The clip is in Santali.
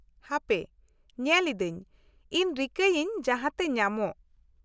-ᱦᱟᱯᱮ ᱧᱮᱞ ᱤᱫᱟᱹᱧ, ᱤᱧ ᱨᱤᱠᱟᱹᱭᱟᱹᱧ ᱡᱟᱦᱟᱛᱮ ᱧᱟᱢᱚᱜ ᱾